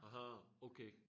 Aha okay